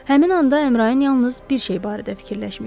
Həmin anda Əmrayin yalnız bir şey barədə fikirləşmişdi.